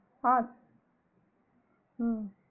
add ஆஹ்